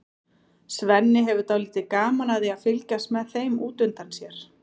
Svenni hefur dálítið gaman af því að fylgjast með þeim út undan sér.